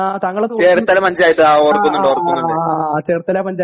ആഹ് ചേർത്തല പഞ്ചായത്ത് ഓർക്കുന്നുണ്ട്